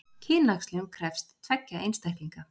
Kynæxlun krefst tveggja einstaklinga.